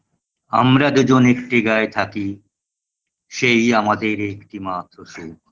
আমরা দুজন একটি গাঁয়ে থাকি সেই আমাদের একটি মাত্র সুখ